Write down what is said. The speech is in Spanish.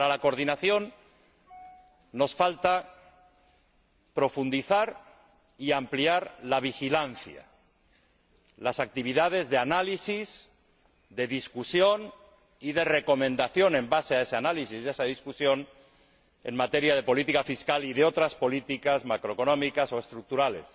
Para la coordinación nos falta profundizar y ampliar la vigilancia y las actividades de análisis, de debate y de recomendación basadas en ese análisis y ese debate en materia de política fiscal y de otras políticas macroeconómicas o estructurales.